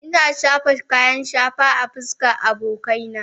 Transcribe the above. Ina shafa kayan shafa a fuskar abokaina